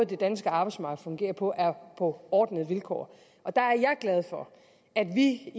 det danske arbejdsmarked fungerer på er på ordnede vilkår der er jeg glad for at vi i